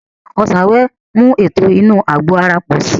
Ọsàn wẹ́wẹ́ ń mú ètò inú àgbò ara pò si